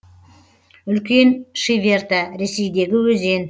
үлкен шиверта ресейдегі өзен